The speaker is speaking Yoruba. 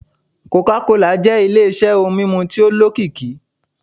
coca cola jẹ́ ile-iṣẹ́ ohun mímu tí ó lókìkí.